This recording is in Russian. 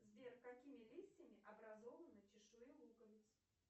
сбер какими листьями образованы чешуи луковиц